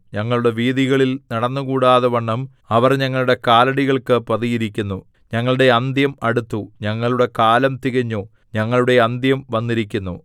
ഞങ്ങളുടെ വീഥികളിൽ നടന്നുകൂടാതവണ്ണം അവർ ഞങ്ങളുടെ കാലടികൾക്ക് പതിയിരിക്കുന്നു ഞങ്ങളുടെ അന്ത്യം അടുത്തു ഞങ്ങളുടെ കാലം തികഞ്ഞു ഞങ്ങളുടെ അന്ത്യം വന്നിരിക്കുന്നു